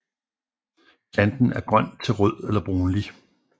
Planten er grøn til rød eller brunlig